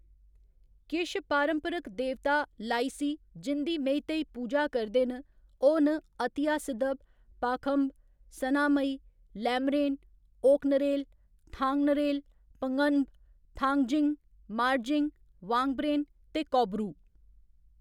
किश पारंपरिक देवता, लाइसि, जिं'दी मेईतेई पूजा करदे न, ओह्‌‌ न अतिया सिदब, पाखंब, सनामहि, लैमरेन, ओकनरेल, थांगनरेल, पंगन्ब, थांगजिंग, मार्जिंग, वांगब्रेन ते कौब्रु।